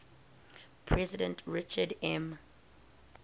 president richard m